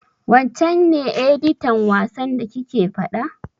Wancen ne editan wasan da kike faɗa?